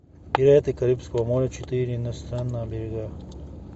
пираты карибского моря четыре на странных берегах